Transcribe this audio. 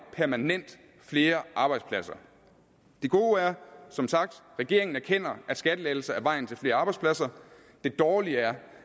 permanent flere arbejdspladser det gode er som sagt at regeringen erkender at skattelettelser er vejen til flere arbejdspladser det dårlige er